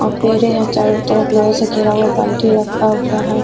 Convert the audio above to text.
और [ है। चारो तरफ लोहे से घिरा हुआबाल्टी रखा हुआ है।